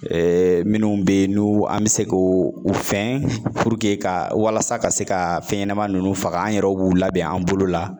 minnu be ye n'u an bi se k'o u fɛn ka walasa ka se ka fɛn ɲɛnama ninnu faga an yɛrɛw b'u labɛn an bolo la